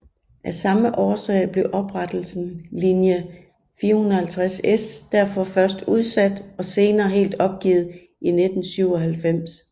Af samme årsag blev oprettelsen linje 450S derfor først udsat og senere helt opgivet i 1997